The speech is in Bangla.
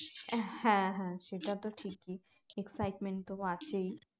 হ্যাঁ হ্যাঁ সেটা তো ঠিকই excitement তো আছেই